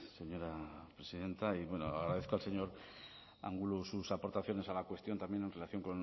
señora presidenta y bueno agradezco al señor angulo sus aportaciones a la cuestión también en relación